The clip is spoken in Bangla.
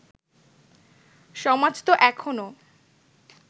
সমাজ তো এখনও